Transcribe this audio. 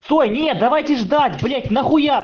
стой нет давайте ждать блять нахуя